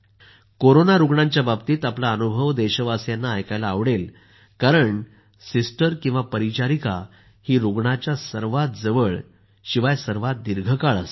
corona रूग्णांबाबतीत आपला अनुभव देशवासियांना ऐकायला आवडेल कारण सिस्टर किंवा परिचारिका ही रूग्णाच्या सर्वात जवळ शिवाय सर्वात दीर्घकाळ असते